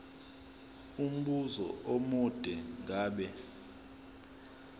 umbuzo omude ngabe